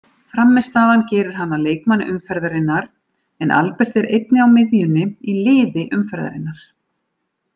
Frammistaðan gerir hann að leikmanni umferðarinnar en Albert er einnig á miðjunni í liði umferðarinnar.